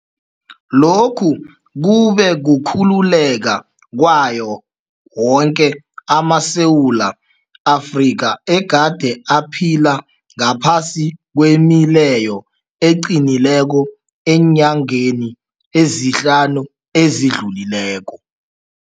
Lokhu kube kukhululeka kwawo woke amaSewula Afrika egade aphila ngaphasi kwemileyo eqinileko eenyangeni ezihlanu ezidlulileko.